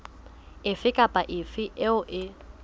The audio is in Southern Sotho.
efe kapa efe eo e